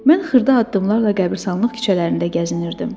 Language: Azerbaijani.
Mən xırda addımlarla qəbiristanlıq küçələrində gəzinirdim.